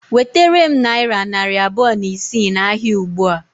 Wetere m nayira narị abụọ na isii na ahịa ụgbụa